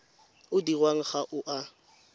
o dirwang ga o a